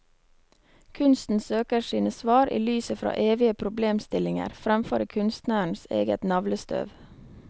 Kunsten søker sine svar i lyset fra evige problemstillinger, fremfor i kunstnerens eget navlestøv.